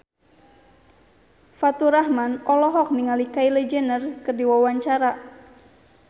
Faturrahman olohok ningali Kylie Jenner keur diwawancara